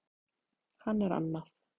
Hann er annað